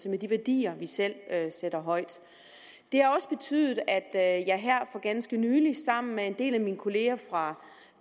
med de værdier vi selv sætter højt det har også betydet at jeg her for ganske nylig sammen med en del af min kolleger fra